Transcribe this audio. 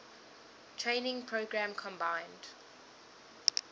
training program combined